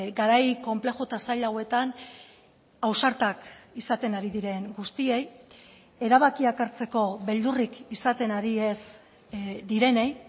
garai konplexu eta zail hauetan ausartak izaten ari diren guztiei erabakiak hartzeko beldurrik izaten ari ez direnei